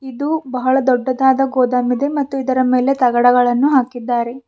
ಇದು ಬಹಳ ದೊಡ್ಡದಾದ ಗೋದಮ್ ಇದೆ ಅದರ ಮೇಲ್ಗಡೆ ತಗಡಗಳನ್ನು ಹಾಕಿದ್ದಾರೆ.